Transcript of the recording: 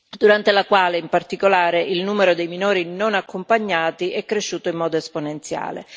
durante la quale, in particolare, il numero dei minori non accompagnati è cresciuto in modo esponenziale.